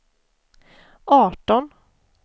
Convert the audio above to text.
arton